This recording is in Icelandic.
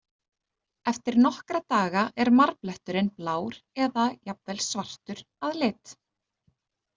Eftir nokkra daga er marbletturinn blár eða jafnvel svartur að lit.